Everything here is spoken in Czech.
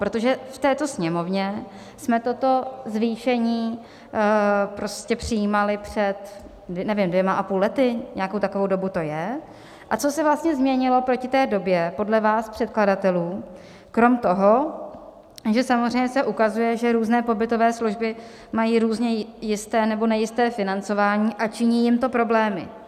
Protože v této Sněmovně jsme toto zvýšení prostě přijímali před, nevím, dvěma a půl lety, nějakou takovou dobu to je - a co se vlastně změnilo proti té době podle vás předkladatelů krom toho, že samozřejmě se ukazuje, že různé pobytové služby mají různě jisté nebo nejisté financování a činí jim to problémy.